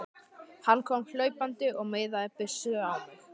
Hann kom hlaupandi og miðaði byssunni á mig.